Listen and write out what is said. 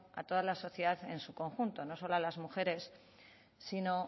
a toda la sociedad en su conjunto no solo a las mujeres sino